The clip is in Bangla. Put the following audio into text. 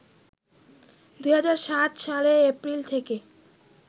২০০৭ সালে এপ্রিল থেকে